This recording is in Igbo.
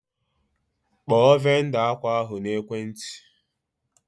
Kpọọ vendọ akwa ahụ n'ekwenti!